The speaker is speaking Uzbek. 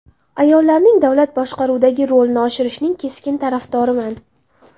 Ayollarning davlat boshqaruvidagi rolini oshirishning keskin tarafdoriman.